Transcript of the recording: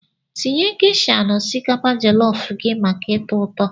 Tinye geisha na osikapa jollof gị maka ụtọ ụtọ